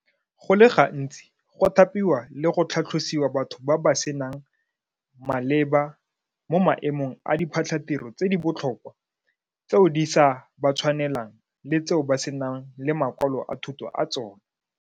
Go le gantsi go thapiwa le go tlhatlhosiwa batho ba ba seng maleba mo maemong a diphatlhatiro tse di botlhokwa tseo di sa ba tshwanelang le tseo ba senang le makwalo a thuto a tsona.